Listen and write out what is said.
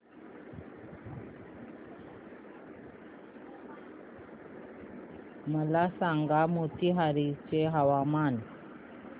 मला सांगा मोतीहारी चे हवामान